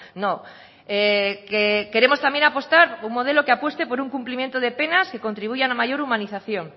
no que queremos también apostar por un modelo que apueste por un cumplimiento de penas que contribuyan a mayor humanización